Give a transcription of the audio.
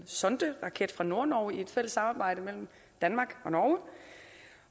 sonderaket fra nordnorge i et fælles samarbejde mellem danmark